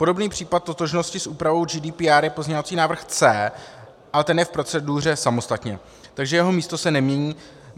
Podobný případ totožnosti s úpravou GDPR je pozměňovací návrh C, ale ten je v proceduře samostatně, takže jeho místo se nemění.